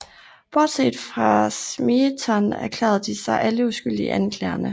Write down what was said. Bortset fra Smeaton erklærede de sig alle uskyldige i anklagerne